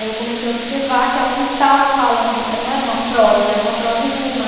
Aí eu comecei a observar que ela não estava falando, eh não era uma prosa, era uma prosa em rima.